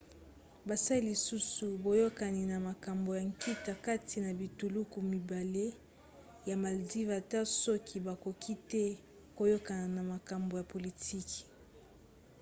basali lisusu boyokani na makambo ya nkita kati na bituluku mibale ya moldavie ata soki bakoki te koyokana na makambo ya politiki